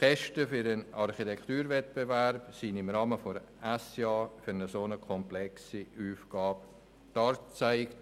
Die Kosten für den Architekturwettbewerb werden im Rahmen der Empfehlungen des Schweizerischen Ingenieur- und Architektenvereins SIA für eine so komplexe Aufgabe dargelegt.